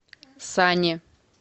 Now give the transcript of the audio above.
сане